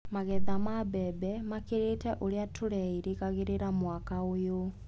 Magetha ma mbembe makĩrĩte ũrĩa tũreirĩgaga mwaka ũyũ.